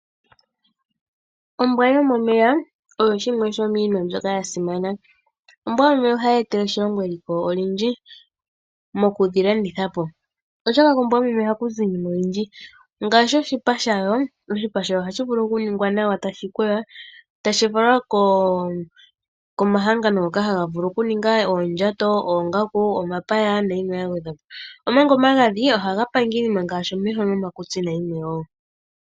Ombwa yomomeya oyo shimwe shomiinima mbyoka ya simana. Ombwa yomomeya ohayi etele oshilongo eliko olindji mokudhi landitha po, oshoka kombwa yomomeya ohaku zi iinima oyindji ngaashi oshipa shayo ohashi vulu okuningwa nawa e tashi kweywa, tashi falwa komahangano ngoka haga vulu okuninga oondjato, oongaku, omapaya nayimwe ya gwedhwa po, omanga omagadhi ohaga panga iinima ngaashi omeho nomakutsi nayimwe wo.